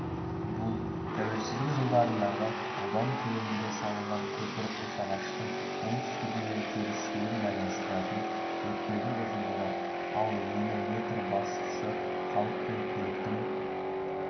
бұл тәуелсіздік жылдарындағы аудан көлемінде салынған көпір қосағаштың оңтүстігі мен теріскейін байланыстыратын өткелдің ұзындығы ал ені метр бастысы халық пен көліктің